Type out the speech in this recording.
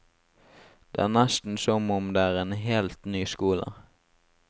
Det er nesten som om det er en helt ny skole.